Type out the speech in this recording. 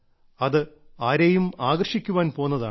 അത് ആരെയും ആകർഷിക്കാൻ പോന്നതാണ്